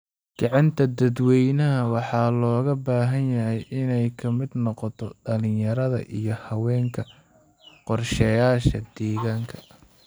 Kicinta dadweynaha waxaa looga baahan yahay inay ka mid noqoto dhalinyarada iyo haweenka qorshayaasha deegaanka.